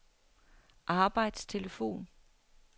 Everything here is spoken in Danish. arbejdstelefon